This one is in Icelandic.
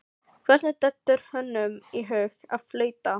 Hvernig dettur honum í hug að flauta?